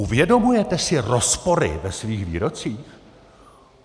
Uvědomujete si rozpory ve svých výrocích?